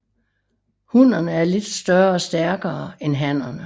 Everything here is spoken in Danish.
Hunnerne er lidt større og stærkere end hannerne